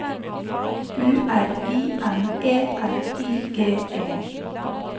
U R I M E L I G E